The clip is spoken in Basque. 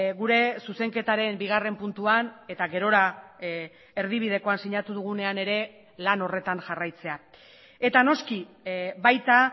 gure zuzenketaren bigarren puntuan eta gerora erdibidekoan sinatu dugunean ere lan horretan jarraitzea eta noski baita